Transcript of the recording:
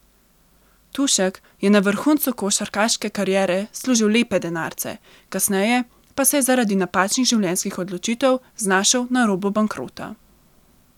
Tušek je na vrhuncu košarkarske kariere služil lepe denarce, kasneje pa se je zaradi napačnih življenjskih odločitev znašel na robu bankrota.